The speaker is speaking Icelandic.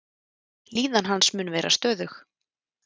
Líðan hans mun vera stöðug.